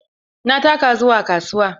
Na taka zuwa kasuwa.